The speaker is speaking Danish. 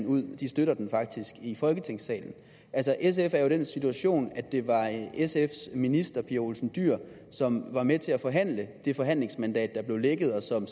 ud de støtter den faktisk i folketingssalen altså sf er den situation at det var sfs minister fru pia olsen dyhr som var med til at forhandle det forhandlingsmandat der blev lækket og som